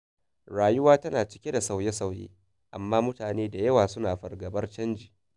Rayuwa tana cike da sauye-sauye, amma mutane da yawa suna fargabar canji.